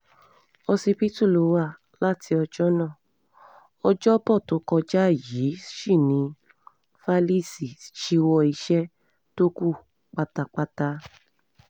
òsibítù ló wá láti ọjọ́ náà ọjọ́bọ tó kọjá yìí sí ní falise ṣíwọ́ iṣẹ́ tó kù pátápátá